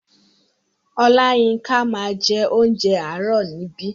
Oláyínká máa ń jẹ onjẹ àárò níbí.